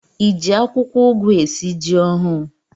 Ị ji akwụkwọugwu esi ji ọhụ̣ụ?